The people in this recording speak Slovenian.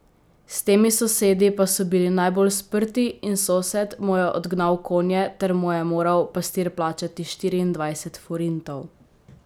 S temi sosedi pa so bili najbolj sprti in sosed mu je odgnal konje ter mu je moral pastir plačati štiriindvajset forintov.